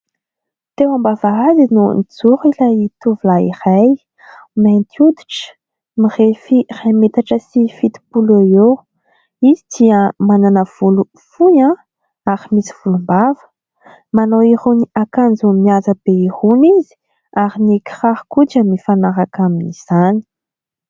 Teo am-bavahady no nijoro ilay tovolahy iray mainty hoditra mirefy iray metatra sy fitopolo eo eo, izy dia manana volo fohy ary misy volombava manao irony akanjo mihaja be irony izy ary ny kiraro koa dia mifanaraka amin'izany.